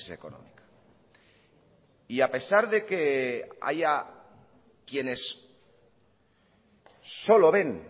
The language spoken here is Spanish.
económica y a pesar de que haya quienes solo ven